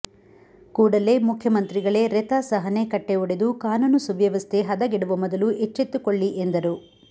ಕೂಡಲೆ ಮುಖ್ಯಮಂತ್ರಿಗಳೇ ರೆತ ಸಹನೆ ಕಟ್ಟೆ ಒಡೆದು ಕಾನೂನು ಸುವ್ಯವಸ್ಥೆ ಹದೆಗೆಡುವ ಮೊದಲು ಎಚ್ಚೆತ್ತುಕೊಳ್ಳಿ ಎಂದರು